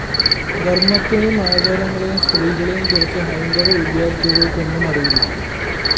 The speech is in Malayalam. ധര്‍മ്മത്തേയും ആചാരങ്ങളെയും സ്ത്രീകളെയുംകുറിച്ച് ഹൈന്ദവ വിദ്യാര്‍ത്ഥികള്‍ക്ക് ഒന്നും അറിയില്ല